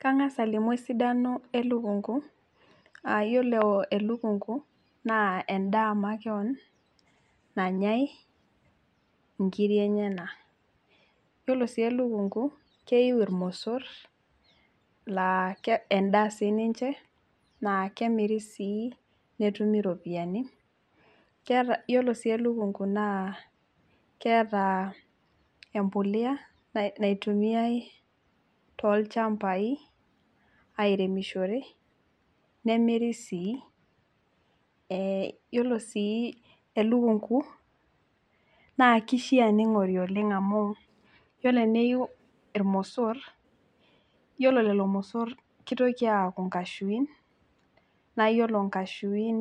Kang'as alimu esidano elukunku aa ore elukunku naa endaa nanyaai inkirik enyanak yiolo sii elukunku keiu Irmosor lemiri netumi iropiyiani yiolo sii elukunku keeta embolea naitumiyai tolchambaai airemishore nemirii see yiolo sii elukunku yiolo teneiu Irmosor yiolo lelo mosor kitoki aaku inkashuin naa ore inkashuin